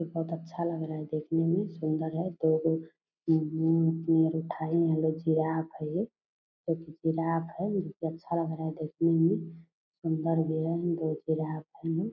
बहुत अच्छा लग रहा है देखने मे सुंदर है दो जिराफ़ है ये जो की जिराफ़ है अच्छा लग रहा है देखने मे सुंदर भी है दो जिराफ़ है ये।